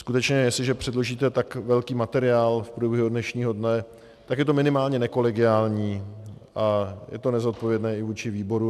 Skutečně jestliže předložíte tak velký materiál v průběhu dnešního dne, tak je to minimálně nekolegiální a je to nezodpovědné i vůči výboru.